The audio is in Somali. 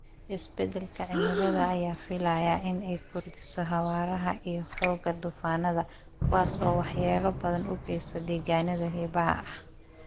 Isbeddelka cimilada ayaa la filayaa in ay kordhiso xawaaraha iyo xoogga duufaannada, kuwaas oo waxyeello badan u geysta deegaannada xeebaha ah.